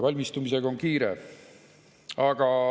Valmistumisega on kiire.